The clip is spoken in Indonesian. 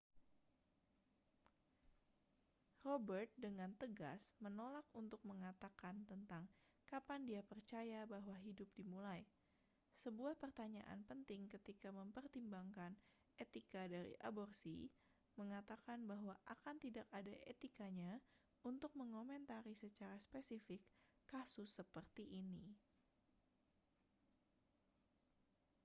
robert dengan tegas menolak untuk mengatakan tentang kapan dia percaya bahwa hidup dimulai sebuah pertanyaan penting ketika mempertimbangkan etika dari aborsi mengatakan bahwa akan tidak ada etikanya untuk mengomentari secara spesifik kasus seperti ini